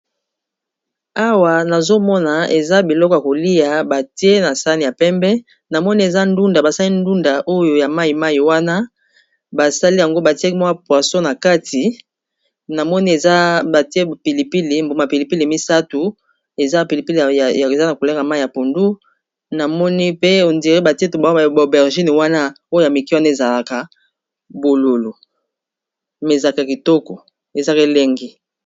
Awa, nazo mona eza biloko ya kolia batie na sani ya pembe. Na moni eza ndunda, basali ndunda oyo ya mai-mai wana basali yango, batie mwa poisons. Na moni eza batie pilipili ya mbuma, pilipili misato. Eza pilipili eza na langî ya mai ya pundu. Namoni pe on dirait batie ba buma ya aubergine oyo wana ya mikie, ezalaka bololo, mais ezalaka kitoko, ezalaka elengi.